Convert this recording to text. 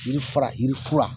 Yirifara yirifura